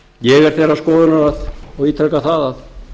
ég er þeirrar skoðunar og ítreka það að